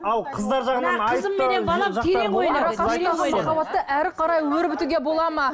ал қыздар жағынан әрі қарай өрбітуге болады ма